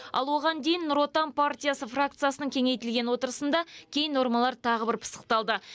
ал оған дейін нұр отан партиясы фракциясының кеңейтілген отырысында кей нормалар тағы бір пысықталды